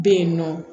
Bɛ yen nɔ